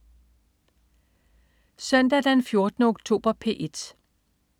Søndag den 14. oktober - P1: